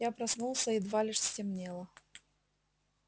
я проснулся едва лишь стемнело